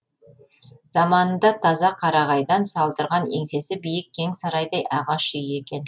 заманында таза қарағайдан салдырған еңсесі биік кең сарайдай ағаш үй екен